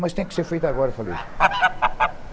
Mas tem que ser feito agora, falei assim.